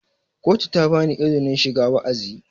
kotu ta ba izinin shiga wa'azi